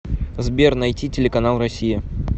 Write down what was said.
сбер найти телеканал россия